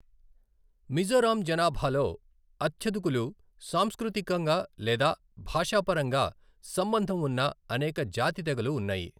మిజోరాం జనాభాలో అత్యధికులు సాంస్కృతికంగా లేదా భాషాపరంగా సంబంధం ఉన్న అనేక జాతి తెగలు ఉన్నాయి.